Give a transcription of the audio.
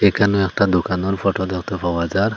এখানে একটা দোকানের ফোটো দেখতে পাওয়া যার।